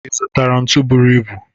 Ị zụtara ntu bụrụ ibu